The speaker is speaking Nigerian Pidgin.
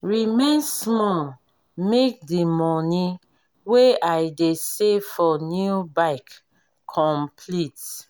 remain small make the money wey i dey save for new bike complete.